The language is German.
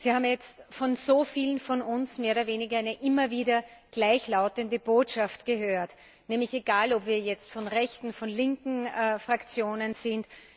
Sie haben jetzt von so vielen von uns mehr oder weniger eine immer wieder gleichlautende Botschaft gehört, egal ob wir jetzt von rechten oder von linken Fraktionen sind.